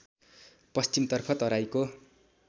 पश्चिमतर्फ तराईको